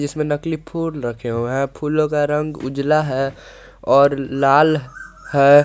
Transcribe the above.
इसमें नकली फूल रखे हुए हैं फूलों का रंग उजाला है और लाल है।